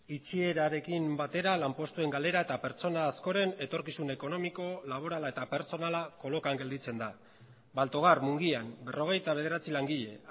itxierarekin batera lanpostuen galera eta pertsona askoren etorkizun ekonomiko laborala eta pertsonala kolokan gelditzen da baltogar mungian berrogeita bederatzi langile